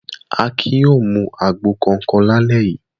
Akin yóò mu àgbo kọ̀ọ̀kan lálẹ́ yìí!